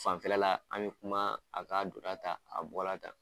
Fanfɛla la, an bɛ kuma a k'a donna tan a bɔra tan.